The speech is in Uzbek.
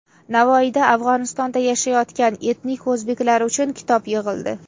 Navoiyda Afg‘onistonda yashayotgan etnik o‘zbeklar uchun kitob yig‘ildi.